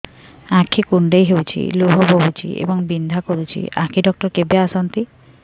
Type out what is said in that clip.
ଆଖି କୁଣ୍ଡେଇ ହେଉଛି ଲୁହ ବହୁଛି ଏବଂ ବିନ୍ଧା କରୁଛି ଆଖି ଡକ୍ଟର କେବେ ଆସନ୍ତି